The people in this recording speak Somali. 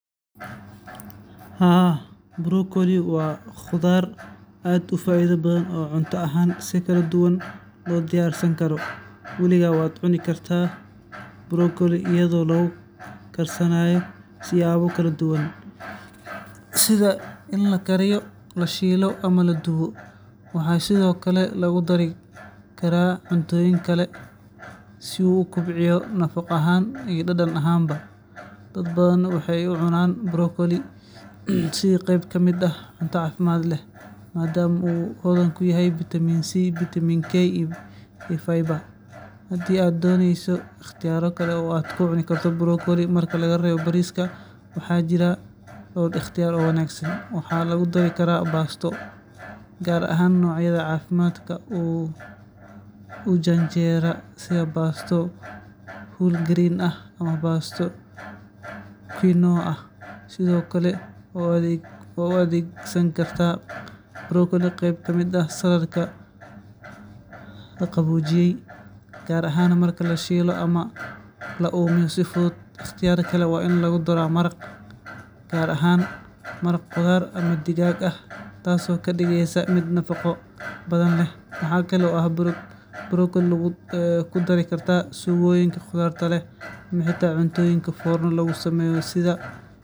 Brokolli-ga waa khudrad aad u caafimaad badan oo hodan ku ah fitamiinno iyo macdan muhiim ah sida fitamiino. Marka laga reebo bariiska oo ah cunno dhaqameed aad u badan oo dadku ku cunaan brokolli-ga, waxaa jira ikhtiyaarro kale oo badan oo lagu heli karo brokolli si caafimaad leh oo macaan. Tusaale ahaan, waxaad ku karin kartaa shiilan ama duban si aad u hesho dhadhan kala duwan, ama waxaad ku dari kartaa saladh si aad u hesho cunto khafiif ah oo caafimaad leh. Sidoo kale, waa laga samayn karaa maraq ama supo, taasoo aad u fiican xilliyada qabow.